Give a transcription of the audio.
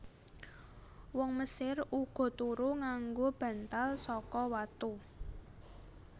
Wong Mesir uga turu nganggo bantal saka watu